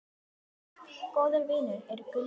Góðir vinir eru gulls ígildi.